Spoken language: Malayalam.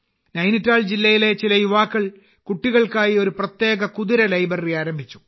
നൈനിറ്റാൾ ജില്ലയിലെ ചില യുവാക്കൾ കുട്ടികൾക്കായി ഒരു പ്രത്യേക കുതിര ലൈബ്രറി ആരംഭിച്ചു